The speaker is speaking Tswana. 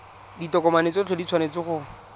ditokomane tsotlhe di tshwanetse go